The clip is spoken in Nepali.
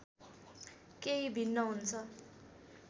केही भिन्न हुन्छ